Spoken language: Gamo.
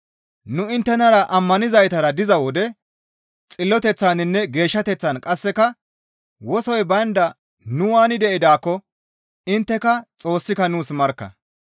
Nu inttenara ammanizaytara diza wode xilloteththaninne geeshshateththan qasseka wosoy baynda nu waani de7idaakko intteka Xoossika nuus markka.